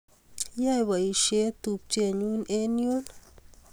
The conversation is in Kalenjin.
Yae poisyet tupchennyu eng' yun